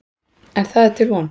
En það er til von.